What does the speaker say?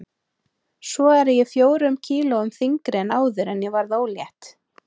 Svo er ég fjórum kílóum þyngri en áður en ég varð ólétt.